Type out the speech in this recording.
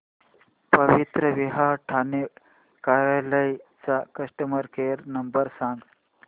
पवित्रविवाह ठाणे कार्यालय चा customer care number सांग